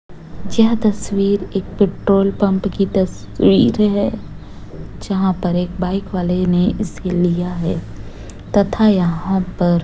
यह तस्वीर एक पेट्रोल पंप की तस्वीर है। जहाँ पर एक बाइक वाले ने इसे लिया है। तथा यहाँ पर --